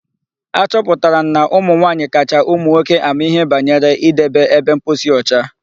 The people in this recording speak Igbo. Achọpụtara m na ụmụ nwaanyị kacha ụmụ nwoke ama ihe banyere idebe ebe mposi ọcha.